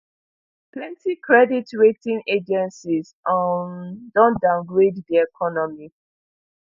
plenti credit rating agencies um don downgrade di economy